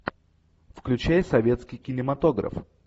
включай советский кинематограф